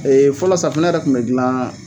Ee fɔlɔ safunɛ yɛrɛ tun bɛ dilan